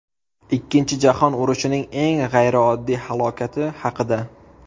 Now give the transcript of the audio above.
Ikkinchi jahon urushining eng g‘ayrioddiy halokati haqida.